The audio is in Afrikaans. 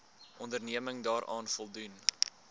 onderneming daaraan voldoen